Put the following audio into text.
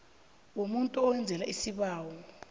yomuntu owenzelwa isibawo